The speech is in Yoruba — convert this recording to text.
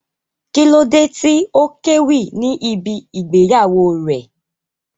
Kí ló dé tí ó kéwì ní ibí ìgbéyàwó rẹ̀?